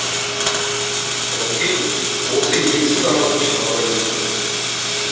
наутилус осы елсіз аралды жағалай етті